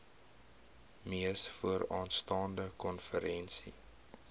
mees vooraanstaande konferensie